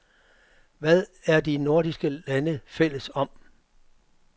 Hvad er de nordiske lande fælles om?